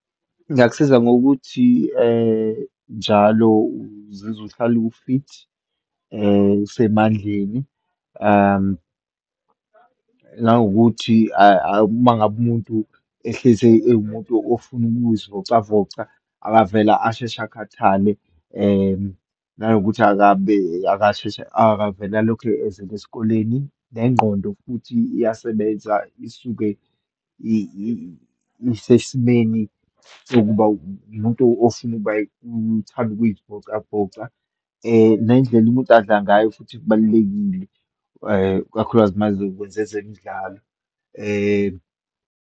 Ingakusiza ngokuthi njalo uzizwa uhlale u-fit, usemandleni, nangokuthi uma ngabe umuntu ehlezi ewumuntu ofuna ukuzivocavoca, akavele ashesha akhathale, nanokuthi akabe asheshe akavele alokhu ezele esikoleni, nengqondo futhi iyasebenza, isuke isesimeni sokuba umuntu ofuna ukuba uthanda ukuyivocavoca. Nendlela umuntu adla ngayo futhi kubalulekile, ikakhulukazi uma ezokwenza ezemidlalo .